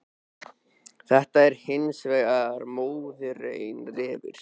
Þetta er hins vegar mórauður refur.